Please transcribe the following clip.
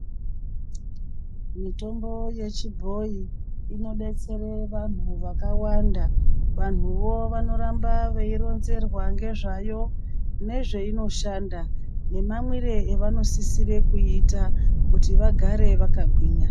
Mitombo yechibhoyi inodetsere vantu vakawanda vantuvo vanoramba veironzerwa ngezvayo nezvainoshanda nemamwire avanosisire kuita kuti vagare vakagwinya.